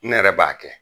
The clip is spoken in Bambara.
Ne yɛrɛ b'a kɛ